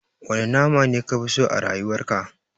Wane nama ne kafi so a rayuwar ka?